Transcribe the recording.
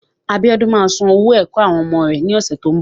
Abíódún ma san owó ẹ̀kọ́ àwọn ọmọ rẹ́ ní ọ̀sẹ̀ tó ń bọ̀.